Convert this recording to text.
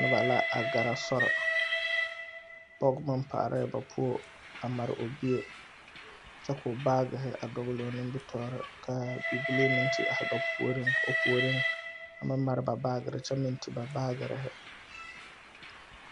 Noba la a gɛrɛ sori pɔge meŋ paalɛɛ ba puo a mare o bie kyɛ k,o baagehi a dɔgle o nimitɔɔreŋ ka bibile meŋ te are ba puoriŋ o puoriŋ a meŋ mare ba baagere kyɛ meŋ ti ba baagerehi.